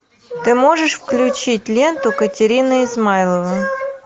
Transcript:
ты можешь включить ленту катерина измайлова